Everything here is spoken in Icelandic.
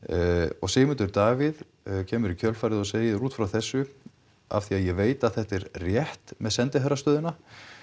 og Sigmundur Davíð kemur í kjölfarið og segir út frá þessu af því að ég veit að þetta er rétt með sendiherrastöðuna